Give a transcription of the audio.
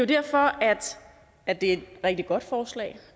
derfor at det er et rigtig godt forslag